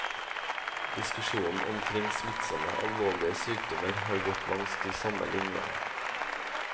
Diskusjonen kring smittsame, alvorlege sjukdomar har gått langs dei same linene.